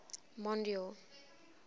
mondeor